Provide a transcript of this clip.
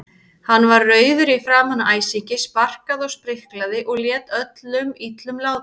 Hann var rauður í framan af æsingi, sparkaði og spriklaði og lét öllum illum látum.